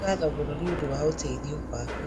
Nĩ ngatho mũno nĩ ũndũ wa ũteithio waku